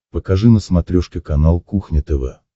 покажи на смотрешке канал кухня тв